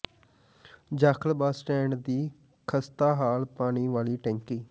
Jakhal bus stand ਦੀ ਖਸਤਾ ਹਾਲ ਪਾਣੀ ਵਾਲੀ ਟੈਂਕੀ